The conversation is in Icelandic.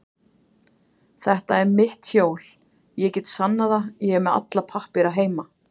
Þetta er mitt hjól, ég get sannað það, er með alla pappíra heima.